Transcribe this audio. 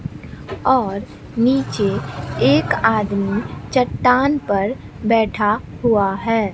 और नीचे एक आदमी चट्टान पर बैठा हुआ है।